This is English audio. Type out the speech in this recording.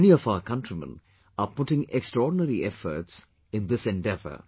Many of our countrymen are putting extraordinary efforts in thisendeavour